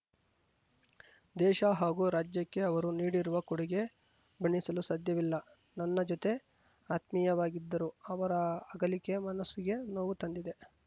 ದೇಶ ಹಾಗೂ ರಾಜ್ಯಕ್ಕೆ ಅವರು ನೀಡಿರುವ ಕೊಡುಗೆ ಬಣ್ಣಿಸಲು ಸಾಧ್ಯವಿಲ್ಲ ನನ್ನ ಜತೆ ಆತ್ಮೀಯವಾಗಿದ್ದರು ಅವರ ಅಗಲಿಕೆ ಮನಸ್ಸಿಗೆ ನೋವು ತಂದಿದೆ